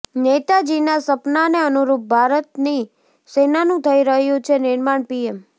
નેતાજીના સપનાને અનુરૂપ ભારતની સેનાનું થઈ રહ્યું છે નિર્માણઃ પીએમ